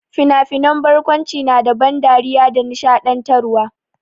Fina-finan barkwanci na da ban dariya da nishaɗantarwa.